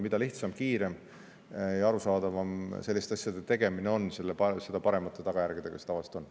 Mida lihtsam, kiirem ja arusaadavam selliste asjade tegemine on, seda paremate tagajärgedega see tavaliselt on.